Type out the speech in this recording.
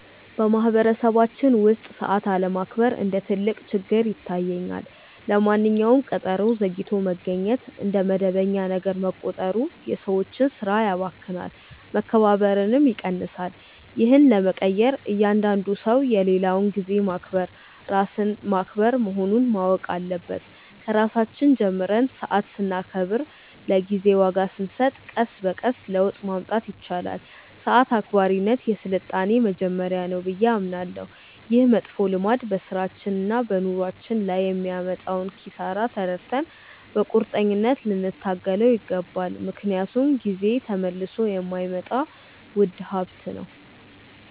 በማኅበረሰባችን ውስጥ ሰዓት አለማክበር እንደ ትልቅ ችግር ይታየኛል። ለማንኛውም ቀጠሮ ዘግይቶ መገኘት እንደ መደበኛ ነገር መቆጠሩ የሰዎችን ሥራ ያባክናል፣ መከባበርንም ይቀንሳል። ይህን ለመቀየር እያንዳንዱ ሰው የሌላውን ጊዜ ማክበር ራስን ማክበር መሆኑን ማወቅ አለበት። ከራሳችን ጀምረን ሰዓት ስናከብርና ለጊዜ ዋጋ ስንሰጥ ቀስ በቀስ ለውጥ ማምጣት ይቻላል። ሰዓት አክባሪነት የሥልጣኔ መጀመሪያ ነው ብዬ አምናለሁ። ይህ መጥፎ ልማድ በሥራችንና በኑሯችን ላይ የሚያመጣውን ኪሳራ ተረድተን በቁርጠኝነት ልንታገለው ይገባል፤ ምክንያቱም ጊዜ ተመልሶ የማይመጣ ውድ ሀብት ነው።